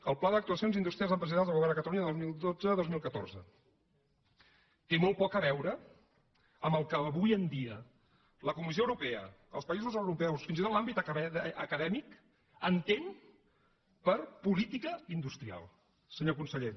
el pla d’actuacions industrials i empresarials del govern de catalunya dos mil dotze dos mil catorze té molt poc a veure amb el que avui en dia la comissió europea els països europeus fins i tot l’àmbit acadèmic entenen per política industrial senyor conseller